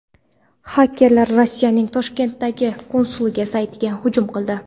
Xakerlar Rossiyaning Toshkentdagi konsulligi saytiga hujum qildi.